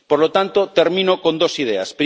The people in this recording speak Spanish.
Por lo tanto, termino con dos ideas.